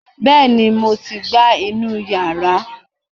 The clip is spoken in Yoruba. bẹẹni mo ti gbá inú yàrá